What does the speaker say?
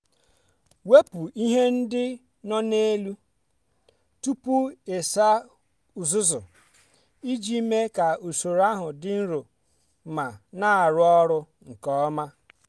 wepụ ihe ndị no na elu tupu ịsa uzuzu iji mee ka usoro ahụ dị nro ma na-arụ ọrụ nke ọma.